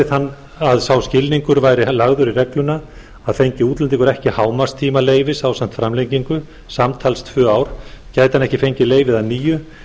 við að sá skilningur væri lagður í regluna að fengi útlendingur ekki hámarkstíma leyfis ásamt framlengingu samtals tvö ár gæti hann ekki fengið leyfið að nýju